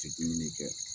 Tɛ dumuni kɛ